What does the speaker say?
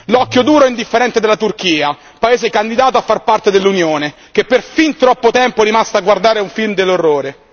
L'occhio duro e indifferente della Turchia, paese candidato a far parte dell'Unione, che per fin troppo tempo è rimasta a guardare un film dell'orrore.